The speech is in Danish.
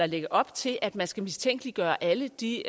lægge op til at man skal mistænkeliggøre alle de